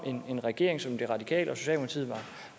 en regering som de radikale